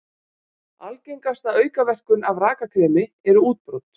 Algengasta aukaverkun af rakakremi eru útbrot.